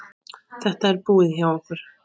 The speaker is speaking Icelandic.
Þetta er búið hjá okkur!